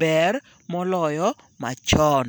ber moloyo machon.